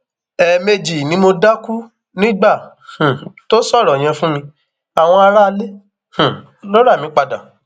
ẹẹmejì ni mo dákú nígbà um tó sọrọ yẹn fún mi àwọn aráalé um ló rà mí padà